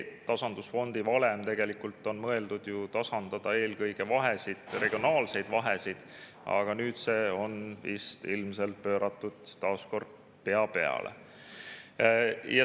Tasandusfondi valem on tegelikult mõeldud tasandama eelkõige vahesid, regionaalseid vahesid, aga nüüd see on ilmselt taas pööratud pea peale.